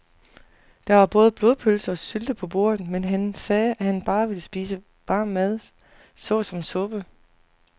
Der var både blodpølse og sylte på bordet, men han sagde, at han bare ville spise varm mad såsom suppe.